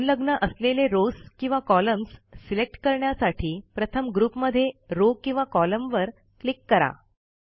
संलग्न असलेले Rowsकिंवा कॉलम्स सिलेक्ट करण्यासाठी प्रथम ग्रुपमधे रॉव किंवा कॉलमवर क्लिक करा